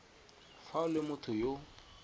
fa o le motho yo